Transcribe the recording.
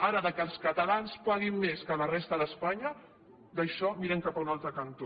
ara que els catalans paguin més que la resta d’espanya d’això mirem cap a un altre cantó